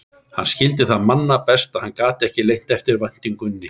Hann skildi það manna best, og hann gat ekki leynt eftirvæntingunni.